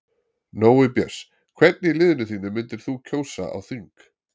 Nói Björns Hvern í liðinu þínu myndir þú kjósa á þing?